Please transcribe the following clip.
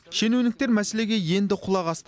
шенеуніктер мәселеге енді құлақ асты